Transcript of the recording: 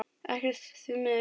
Ekkert, því miður.